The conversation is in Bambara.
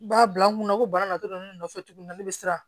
B'a bila n kunna ko bana na dɔrɔn ne nɔfɛ tuguni ne bɛ siran